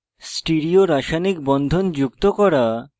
stereo রাসায়নিক বন্ধন যুক্ত করা